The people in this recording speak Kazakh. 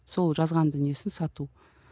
сол жазған дүниесін сату